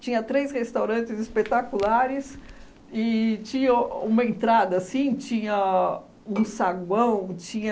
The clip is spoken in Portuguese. Tinha três restaurantes espetaculares e tinha uma entrada assim, tinha um saguão, tinha...